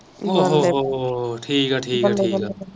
ਉਹ ਹੋ ਹੋ ਹੋ ਹੋ ਠੀਕ ਹੈ ਠੀਕ ਹੈ